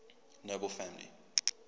nobel family